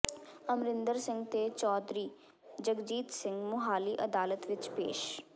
ਅਮਰਿੰਦਰ ਸਿੰਘ ਤੇ ਚੌਧਰੀ ਜਗਜੀਤ ਸਿੰਘ ਮੁਹਾਲੀ ਅਦਾਲਤ ਵਿਚ ਪੇਸ਼